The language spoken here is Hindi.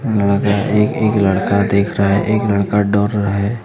एक एक लड़का दिख रहा है एक लड़का दौड़ रहा है।